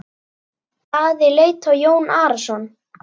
Daði leit á Jón Arason.